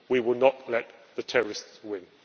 We will not let the terrorists win.